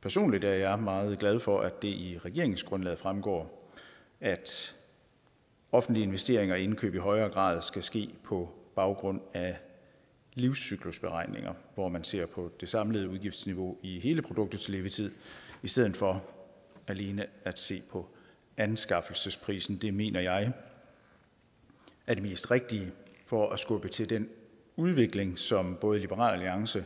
personligt er jeg meget glad for at det i regeringsgrundlaget fremgår at offentlige investeringer og indkøb i højere grad skal ske på baggrund af livscyklusberegninger hvor man ser på det samlede udgiftsniveau i hele produktets levetid i stedet for alene at se på anskaffelsesprisen det mener jeg er det mest rigtige for at skubbe til den udvikling som både liberal alliance